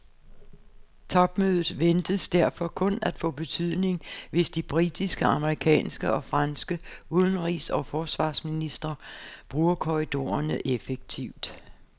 Topmødet ventes derfor kun at få betydning, hvis de britiske, amerikanske og franske udenrigs og forsvarsministre bruger korridorerne effektivt.